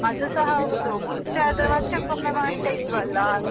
ಅದುಸಾ ಹೌದು. ಮುಂಚೆ ಆದ್ರೆ ವರ್ಷಕ್ಕೊಮ್ಮೆ ಮಾಡ್ತಾ ಇದ್ವಲ್ವಾ.